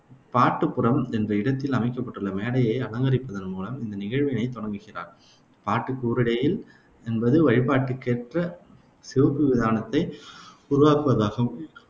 பாட்டுப்புரம் என்ற இடத்தில் அமைக்கப்பட்டுள்ள மேடையை அலங்கரிப்பதன் மூலம் இந்த நிகழ்வினைத் தொடங்குகிறார். பாட்டுக் கூரையிடல் என்பது வழிபாட்டிற்கேற்ற சிவப்பு விதானத்தை உருவாக்குவதாகும்.